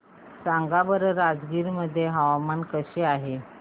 सांगा बरं राजगीर मध्ये हवामान कसे आहे